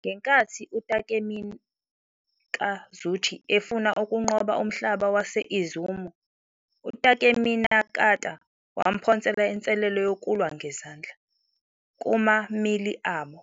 Ngenkathi uTakemikazuchi efuna ukunqoba umhlaba wase-Izumo, uTakeminakata wamphonsela inselelo yokulwa ngezandla. Kuma-melee abo,